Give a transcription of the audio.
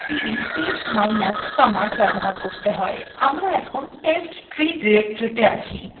আমরা এখন testtree directory তে আছি